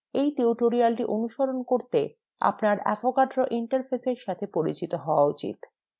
এই tutorial অনুসরণ করতে আপনার avogadro interfaceএর সাথে পরিচিত হওয়া উচিত